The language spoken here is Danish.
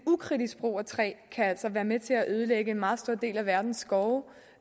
ukritisk brug af træ kan altså være med til at ødelægge en meget stor del af verdens skove